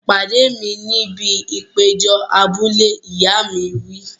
Pàdé mi níbi ìpéjọ abúlé! Ìyá mi wí.